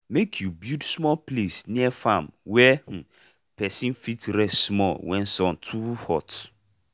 make u build small place near farm wey um person fit rest small wen sun too hot.